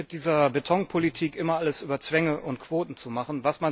Bestimmt nicht mit dieser Betonpolitik, immer alles über Zwänge und Quoten zu machen.